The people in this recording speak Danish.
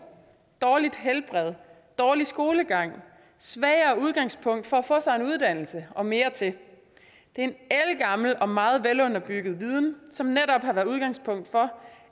dårligt helbred dårlig skolegang svagere udgangspunkt for at få sig en uddannelse og mere til det er en ældgammel og meget velunderbygget viden som netop har været udgangspunktet for